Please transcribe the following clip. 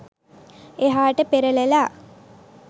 එහාට පෙරලලා